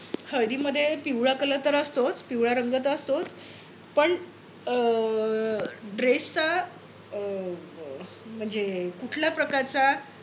हळदीमध्ये पिवळा color तर असतोच पिवळा रंग तर असतोच. पण अं dress चा अह म्हणजे कुठल्या प्रकारचा